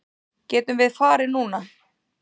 Getum við farið núna?